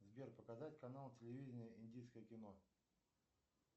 сбер показать канал телевидения индийское кино